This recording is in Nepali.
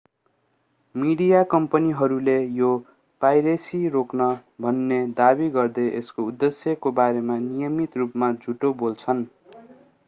मिडिया कम्पनीहरूले यो पाइरेसी रोक्न भन्ने दावी गर्दै यसको उद्देश्यको बारेमा नियमित रूपमा झुटो बोल्छन्